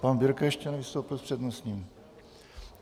Pan Birke ještě nevystoupil s přednostním.